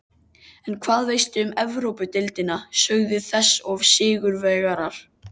En hvað veistu um Evrópudeildina, sögu þess og sigurvegara?